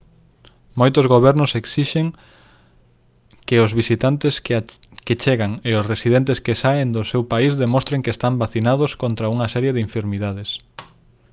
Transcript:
moitos gobernos esixen que os visitantes que chegan e os residentes que saen do seu país demostren que están vacinados contra unha serie de enfermidades